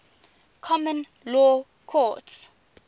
common law courts